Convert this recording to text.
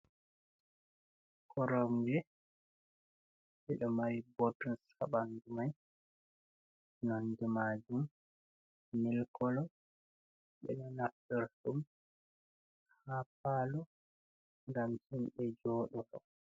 Koromje ɓe ɗo mari i botuns habandu mai, nonde majum milkolo, ɓeɗo naftoro ɗum ha palo, gam himɓe joɗoro.